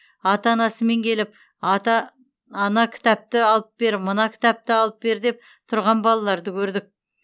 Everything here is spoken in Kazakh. ата анасымен келіп ата ана кітапты алып бер мына кітапты алып бер деп тұрған балаларды көрдік